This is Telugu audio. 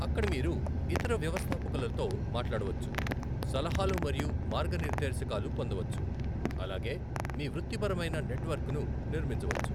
అక్కడ మీరు ఇతర వ్యవస్థాపకులతో మాట్లాడవచ్చు, సలహాలు మరియు మార్గానిర్దేశకాలు పొందవచ్చు, అలాగే మీ వృత్తిపరమైన నెట్వర్క్ను నిర్మించవచ్చు.